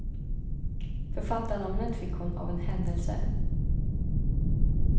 Författarnamnet fick hon av en händelse.